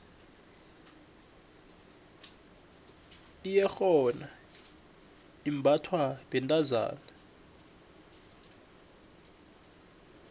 iyerhona imbathwa bentazana